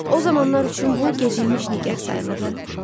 O zamanlar üçün bu gecikmiş nigah sayılırdı.